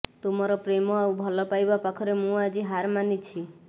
ତୁମର ପ୍ରେମ ଆଉ ଭଲପାଇବା ପାଖରେ ମୁଁ ଆଜି ହାର ମାନିଛି